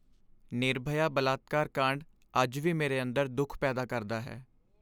ਨਿਰਭਯਾ ਬਲਾਤਕਾਰ ਕਾਂਡ ਅੱਜ ਵੀ ਮੇਰੇ ਅੰਦਰ ਦੁੱਖ ਪੈਦਾ ਕਰਦਾ ਹੈ।